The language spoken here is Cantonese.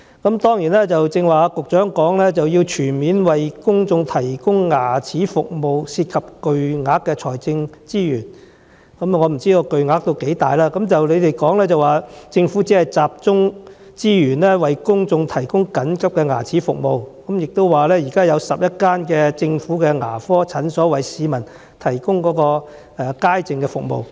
局長剛才在主體答覆中表示，要全面為公眾提供牙科服務涉及巨大的財政資源，我不知道巨大到甚麼程度，但局長說政府只會集中資源為公眾提供緊急牙科服務，並表示現時有11間政府牙科診所為市民提供牙科街症服務。